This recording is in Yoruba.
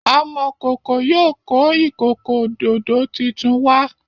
Amokoko yóò kọ ikoko ododo títún wá.